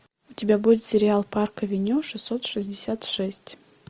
у тебя будет сериал парк авеню шестьсот шестьдесят шесть